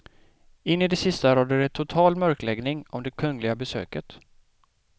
In i det sista rådde det total mörkläggning om det kungliga besöket.